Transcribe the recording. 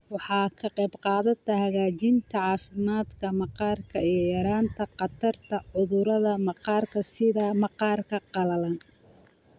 Waxay ka qaybqaadataa hagaajinta caafimaadka maqaarka iyo yaraynta khatarta cudurrada maqaarka sida maqaarka qalalan.